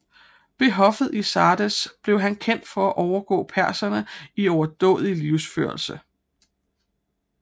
Ved hoffet i Sardes blev han kendt for at overgå perserne i overdådig livsførelse